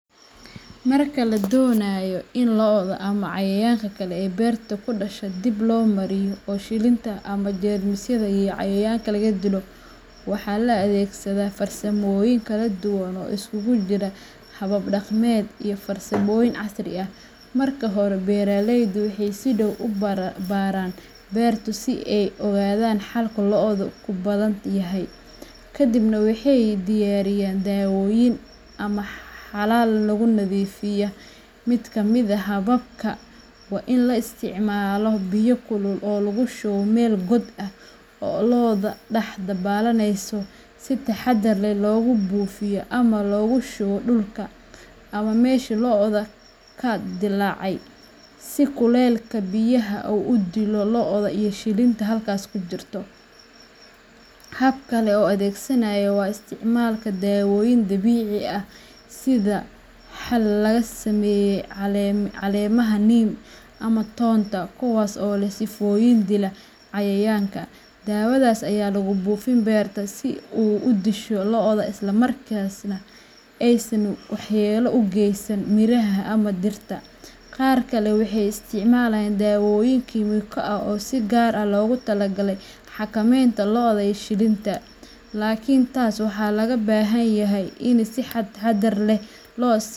Marka la doonayo in loda ama cayayaanka kale ee beerta ku dhasha dib loo mariyo oo shilinta ama jeermisyada iyo cayayaanka laga dilo, waxaa la adeegsadaa farsamooyin kala duwan oo isugu jira habab dhaqameed iyo farsamooyin casri ah. Marka hore, beeraleydu waxay si dhow u baaraan beerta si ay u ogaadaan halka loddu ku badan yahay, kadibna waxay diyaariyaan daawooyin ama xalal lagu nadiifiyo. Mid ka mid ah hababka waa in la isticmaalo biyo kulul oo lagushubo mel god ah oo loda dax dabalaneso si taxaddar leh loogu buufiyo ama loogu shubo dhulka ama meeshii loddu ka dillaacay, si kulaylka biyaha uu u dilo l shilinta halkaas ku jirta. Hab kale oo la adeegsado waa isticmaalka daawooyin dabiici ah sida xal laga sameeyey caleemaha Neem ama toonta, kuwaas oo leh sifooyin dila cayayaanka. Daawadaas ayaa lagu buufiyaa beerta si ay u disho lodda isla markaana aysan waxyeello u geysan miraha ama dhirta. Qaar kale waxay isticmaalaan daawooyin kiimiko ah oo si gaar ah loogu talagalay xakameynta lodda iyo shilinta, laakiin taas waxaa laga baahan yahay in si taxaddar leh.